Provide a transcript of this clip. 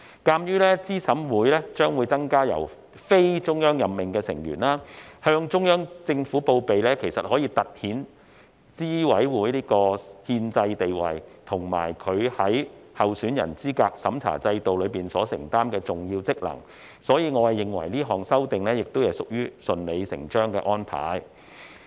鑒於資審會將會增加非中央任命的成員，向中央政府報備可以突顯資審會的憲制地位，以及其在候選人資格審查制度中所承擔的重要職能，所以，我認為這項修正案亦屬於順理成章的安排。